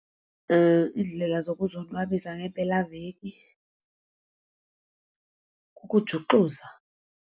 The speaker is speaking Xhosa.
Iindlela zokuzonwabisa ngempelaveki kukujuxuza.